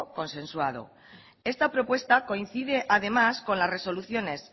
consensuado esta propuesta coincide además con las resoluciones